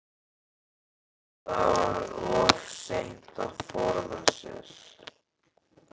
En það var of seint að forða sér.